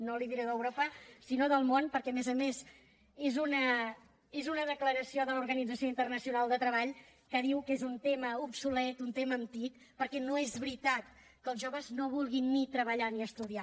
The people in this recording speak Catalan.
no li diré d’europa sinó del món perquè a més a més és una declaració de l’organització internacional del treball que diu que és un tema obsolet un tema antic perquè no és veritat que els joves no vulguin ni treballar ni estudiar